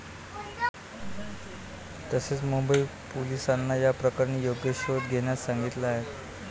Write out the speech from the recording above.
तसेच मुंबई पोलिसांना या प्रकरणी योग्य शोध घेण्यास सांगितलं आहे.